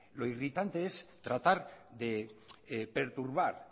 lo irritante es tratar de perturbar